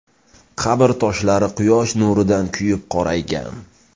Qabr toshlari quyosh nurida kuyib qoraygan.